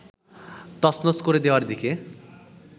তছনছ করে দেওয়ার দিকে